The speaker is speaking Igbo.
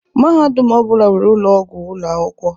Mahadum ọ bụla nwere ụlọ ọgwụ ụlọ akwụkwọ.